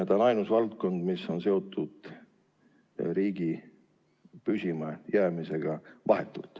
See on ainus valdkond, mis on vahetult seotud riigi püsima jäämisega.